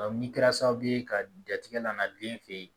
ni kɛra sababu ye ka jatigɛ landen fe ye